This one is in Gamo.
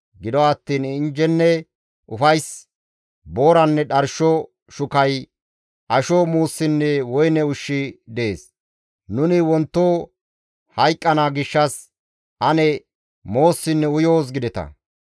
Gido attiin injjenne ufays, booranne dharsho shukay, asho muussinne woyne ushshi dees; «Nuni wonto hayqqana gishshas ane moossinne uyoos» gideta.